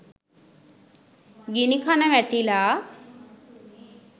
ගිණිකන වැටිලා